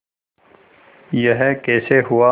यह कैसे हुआ